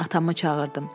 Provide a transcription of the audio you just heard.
Atamı çağırdım.